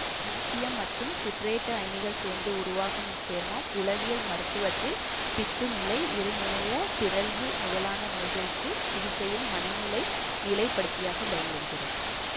இலித்தியம் மற்றும் சிட்ரேட்டு அயனிகள் சேர்ந்து உருவாகும் இச்சேர்மம் உளவியல் மருத்துவத்தில் பித்துநிலை இரு முனைய பிறழ்வு முதலான நோய்களுக்கான சிகிச்சையில் மனநிலை நிலைப்படுத்தியாக பயன்படுகிறது